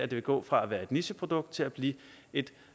det vil gå fra at være et nicheprodukt til at blive et